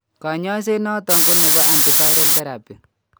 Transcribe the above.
Kanyaiset noton ko nebo antiviral therapy